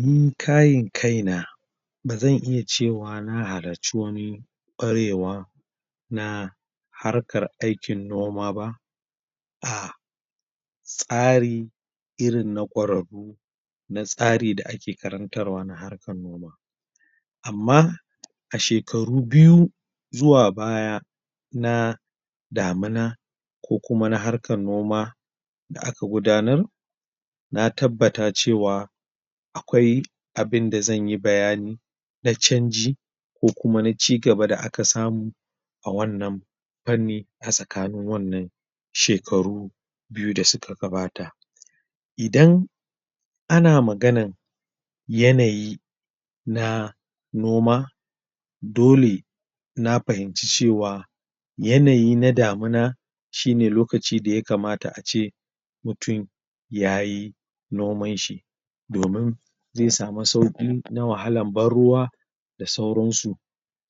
Ni kayin kai na bazan iya cewa na halarci wani ƙwarewa na harkar aikin noma ba ah tsari irin na ƙwarau na tsari da ake karantar wa na harkar noma amma a shekaru biyu zuwa baya na damuna ko kuma na harkan noma da aka gudanar na tabbata cewa akwai abin da zanyi bayani na canji ko kuma na cigaba da aka samu a wannan fanni a tsakanin wannan shekaru biyu da suka gabata idan ana maganan yanayi na noma dole na fahimci cewa yanayi na damuna shine lokaci da ya kamata ace mutum yayi noman shi domun zai samu sauƙi na wahalan banruwa da sauransu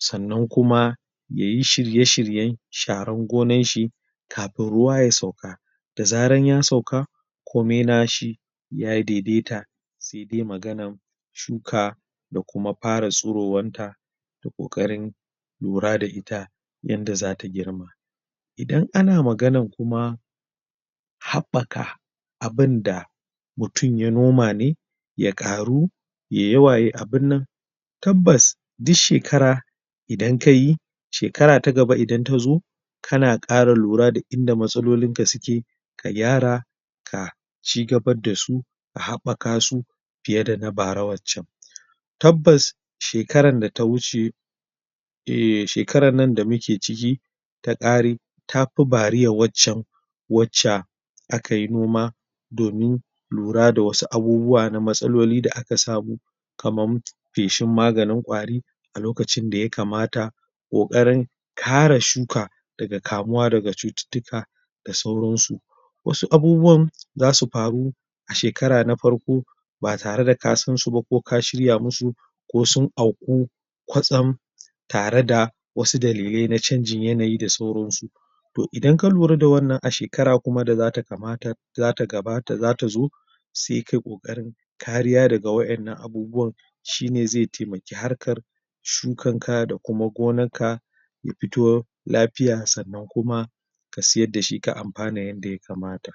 sannan kuma yayi shirye-shirye sharan gonanshi kafin ruwa ya sauka da zaran ya sauka ko mina shi ya daidaita sai dai maganan shuka da kuma fara tsuro wan ta da ƙoƙarin lura da ita yanda zata girma idan ana maganan kuma haɓɓaka abunda mutum ya noma ne ya ƙaru ye yawa ye abunnan tabbas di shekara idan kayi shekara ta gaba idan ta zo kana ƙara lura da inda matsalolinka suke ka gyara ka cigabaddasu a haɓɓaka su fiye da na bara waccan tabbas! shekaran da ta wuce um shekaran nan da muke ciki ta ƙare tafi bariya waccan wacca akai noma domin lura da wasu abubuwa na matsaloli da aka samu kaman feshin maganin ƙwari a lokacin da ya kamata ƙoƙarin kare shuka daga kamuwa daga cututtuka da sauran su wasu abubuwan zasu faru a shekara na farko ba tare da ka san su ba ko ka shirya musu ko sun auku kwatsam tare da wasu dalilai na canjin yanayi da sauran su toh idan ka lura da wannan a shekara kuma da zata kamata zata gabata zata zo sai kai ƙoƙarin kariya daga wa'innan abubuwan shi ne zai taimaki harkar shukan ka da kuma gonan ka ya fito lafiya sannan kuma ka siyarda shi ka amfana yadda ya kamata